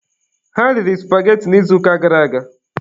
Ha riri supageti n'izuụka gara aga.